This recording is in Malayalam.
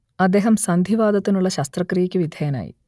അദ്ദേഹം സന്ധിവാതത്തിനുള്ള ശസ്ത്രക്രിയക്ക് വിധേയനായി